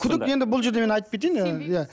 күдік енді бұл жерде мен айтып кетейіін ы иә